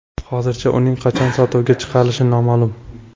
Hozircha uning qachon sotuvga chiqarilishi noma’lum.